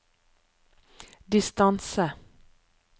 distance